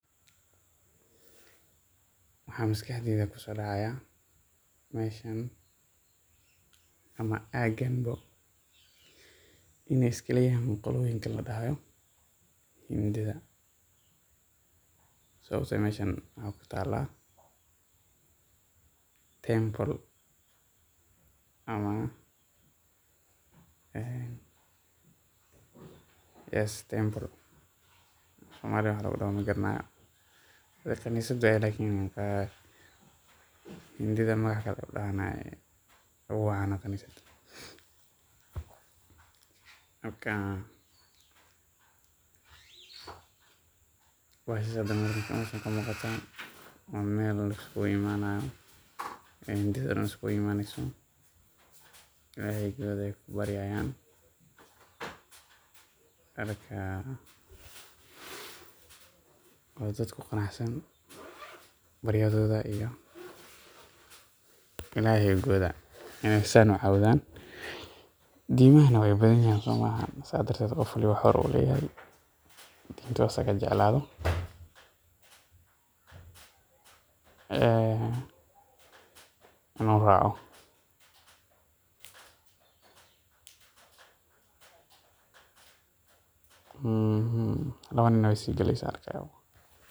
Maxaa maskaxdeyda ku soo dhacaya meeshaan ama gobtaan -bo in ay iska leeyihiin qoloyinkaan la yiraahdo Hindida Sababta ah: meeshaan maxay ku taallaa Tembele af Soomaali waax lagu dhaho ma aqaan. Waxay sidoo kale u muuqataa meel la isku imaanayo — Hindida dhan isku imaanayso — oo Ilaahigooda ay ku baryayaan. Marka waa dad ku qanacsan baryadooda iyo Ilaahigooda. Diimahuna way badan yihiin. Sidaas darteed, qof kasta xor buu u yahay tii asaga uu jeclaado inuu raaco. Waxaan kale arkaa in islaan sii galayso.